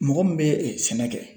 Mɔgɔ min bɛ sɛnɛ kɛ